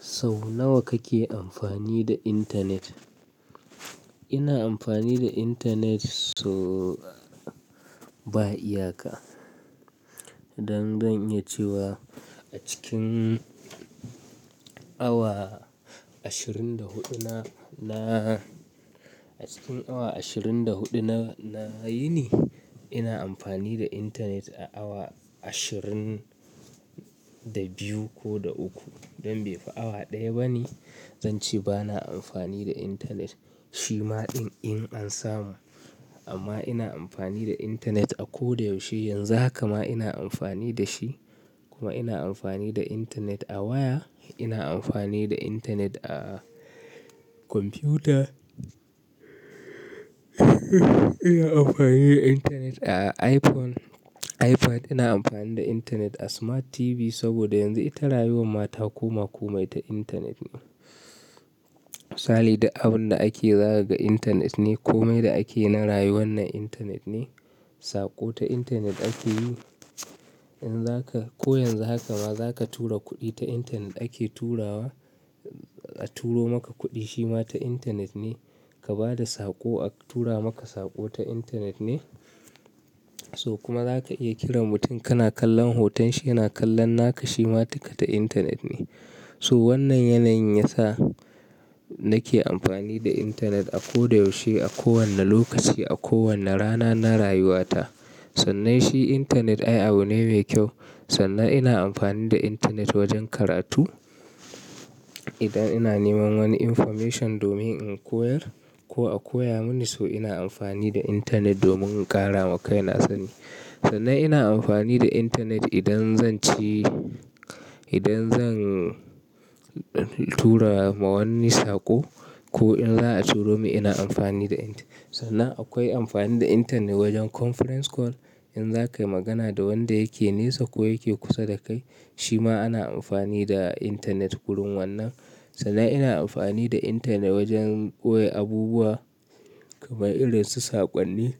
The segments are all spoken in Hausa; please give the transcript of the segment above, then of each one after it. Sau nawa kake amfani da Internet? Ina amfani da internet so ba iyaka. Don zan iya cewa a cikin awa ashirin da huɗuna, na, a cikin awa ashirin da huɗu na, na yini ina amfani da internet a awa ashirin da biyu ko da uku. Don bai fi awa ɗaya bane zance bana amfani da internet. Shi ma ɗin in an samu. Amma ina amfani da internet a ko da yaushe. Yanzu haka ma ina amfani da shi. Kuma ina amfani da internet a waya, ina amfani da internet a kwamfuta, ina amfani da internet a iPhone, iPad, ina amfani da internet a smart TV saboda yanzu ita rayuwar mata ko ma komai ta internet ne. Sali duk abun da ake zakaga internet ne ko mai da ake na rayu wannan internet ne. Saƙo ta intanet ake yi. In zaka, ko yanzu haka ma zaka tura kuɗi ta internet ake turawa, a turo maka kuɗi shima ta internet ne. Ka ba da saƙo a tura maka saƙo ta internet ne. So kuma zaka iya kiran mutum kana kallon hoton shi yana kallon naka shima ta internet ne. So wannan yanayin yasa nake amfani da internet a ko da yaushe, a kowane lokaci, a kowane rana na rayuwata. Sannan shi internet ai abu ne mai kyau. Sannan ina amfani da intanet wajen karatu. Idan ina neman wani information domin in koyar ko a koya mini so ina amfani da internet domin ƙara makai na. Sannan ina amfani da internet idan zanci, idan zan tura ma wanni saƙo ko in za a turo min ina amfani da Internet sannan akwai amfani da internet wajen conference call. In za ka yi magana da wanda yake nesa ko yake kusa da kai, shi ma ana amfani da internet gurin wannan. Sannan ina amfani da internet wajen koya abubuwa kamar irin su saƙonni.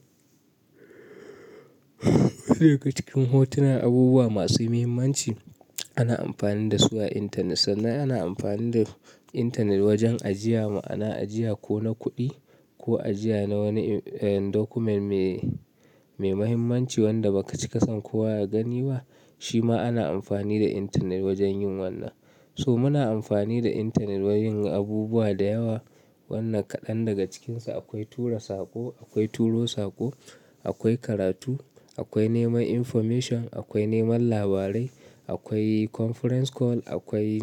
Daga cikin hotunan abubuwa masu mahimmanci ana amfani da su a internet. Sannan ana amfani da internet wajen ajiya ma'ana, ajiya ko na kuɗi ko ajiya na wani, eh, document me, me mahimmanci wanda ba kaci kasan ko waye gani wa, shi ma ana amfani da internet wajen yin wannan. So muna amfani da internet wa yin abubuwa da yawa. Wannan kaɗan daga cikinsa akwai tura saƙo, akwai turo saƙo, akwai karatu, akwai neman information, akwai neman labarai, akwai conference call, akwai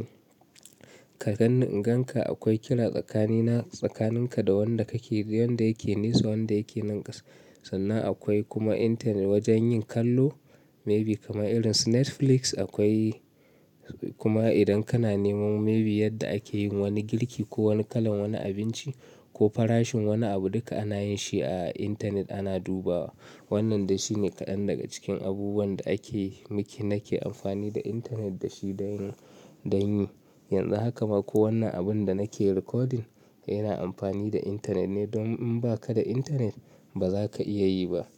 ka gan-- gan ka, akwai kira tsakanina, tsakaninka da wanda kake, wanda yake nesa, wanda yake nan ƙasa. Sannan akwai kuma internet wajen yin kallo, maybe kamar irin su Netflix akwai, kuma idan kana neman maybe yadda ake yin wani girki ko wani kalan wani abinci ko farashin wani abu, duka ana yin shi a internet ana dubawa. Wannan dai shine kaɗan daga cikin abubuwan da ake yi, muke, nake amfani da internet da shi da yin, da yin. Yanzu haka ma ko wannan abun da nake recording ina amfani da internet ne don in ba ka da internet ba za ka iya yi ba.